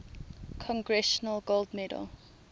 congressional gold medal